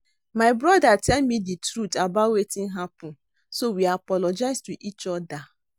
My brother tell me the truth about wetin happen so we apologize to each other